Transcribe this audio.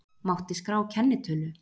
Mátti skrá kennitölu